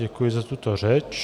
Děkuji za tuto řeč.